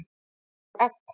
Og egg.